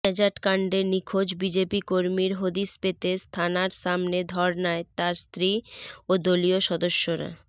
ন্যাজাটকাণ্ডে নিখোঁজ বিজেপি কর্মীর হদিস পেতে থানার সামনে ধর্নায় তাঁর স্ত্রী ও দলীয় সদস্যরা